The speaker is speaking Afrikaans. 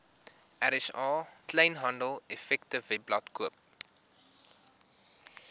rsa kleinhandeleffektewebblad koop